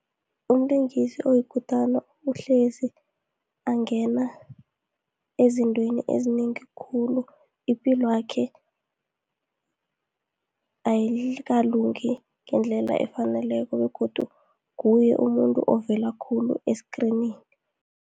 Umlingisi oyikutana uhlezi angena ezintweni ezinengi khulu, ipilwakhe ayikalungi ngendlela efaneleko begodu nguye umuntu ovela khulu esikrinini.